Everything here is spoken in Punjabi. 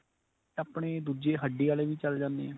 ਆਪਣੇ ਦੂਜੇ ਹੱਡੀ ਵਾਲੇ ਵੀ ਚੱਲ ਜਾਨੇ ਏ.